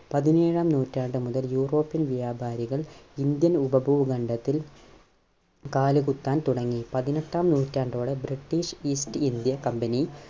പതിനേഴാം നൂറ്റാണ്ടു മുതൽ European വ്യാപാരികൾ ഇന്ത്യൻ ഉപഭൂഖണ്ഡത്തിൽ കാലുകുത്താൻ തുടങ്ങി. പതിനെട്ടാം നൂറ്റാണ്ടോടെ British East India Company